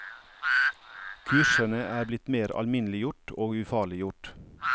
Kursene er blitt mer alminneliggjort og ufarliggjort.